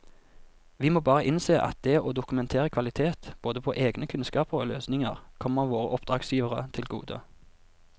Vi må bare innse at det å dokumentere kvalitet både på egne kunnskaper og løsninger kommer våre oppdragsgivere til gode.